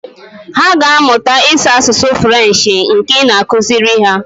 Hà aga amụta ịsụ asụsụ Frenshi nke ị na-akụziri ha.